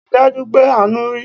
Rí dájú pé Àánú rí!